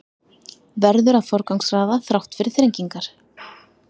Verður að forgangsraða þrátt fyrir þrengingar